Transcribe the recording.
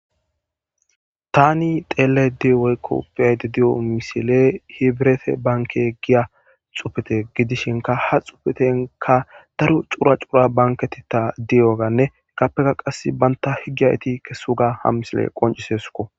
Thaani xeellaydda di woykko be7aydda diyo misilee hibret banke giya tsufete gidishinkka ha tsufethenkka daro cora cora bankketheththaa diyoogaanne appekka qassi banththa higgiya ethi kessooga ha misilee qonccisses koo.